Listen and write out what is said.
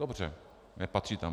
Dobře, nepatří tam.